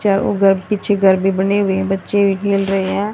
चार उधर पीछे घर भी बने हुए है बच्चे भी खेल रहे है।